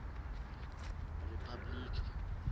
ripabliki